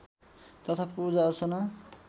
तथा पूजाअर्चना